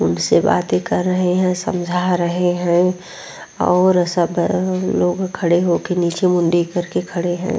उनसे बातें कर रहे हैं समजा रहे हैं और सब लोग खड़े होके नीचे मुंडी करके खड़े हैं।